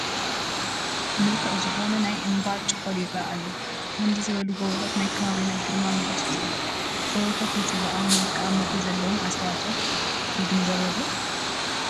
ምልኩዕ ዝኾነ ናይ እምባ ጭኾል ይርአ ኣሎ፡፡ ከምዚ ዝበሉ ጎቦታት ናይ ከባቢና ግርማ ሞገስ እዮም፡፡ ገቦታት ንፅባቐ መልክዓ ምድሪ ዘለዎም ኣስተዋፅኦ ንግንዘቦ ዶ?